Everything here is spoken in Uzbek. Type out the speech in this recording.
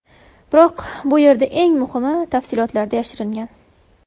Biroq bu yerda eng muhimi tafsilotlarda yashiringan.